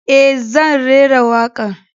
E, zan rera wakar.